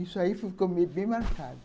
Isso aí ficou bem marcado.